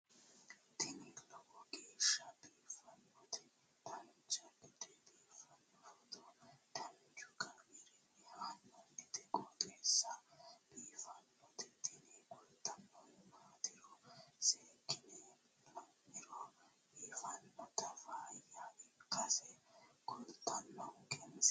tini lowo geeshsha biiffannoti dancha gede biiffanno footo danchu kaameerinni haa'noonniti qooxeessa biiffannoti tini kultannori maatiro seekkine la'niro biiffannota faayya ikkase kultannoke misileeti yaate